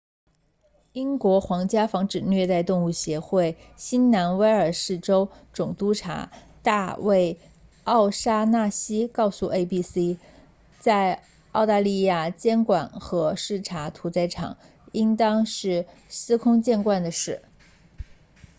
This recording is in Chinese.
英国皇家防止虐待动物协会 rspca 新南威尔士州总督察大卫奥沙纳西 david o'shannessy 告诉 abc 在澳大利亚监管和视察屠宰场应该是司空见惯的事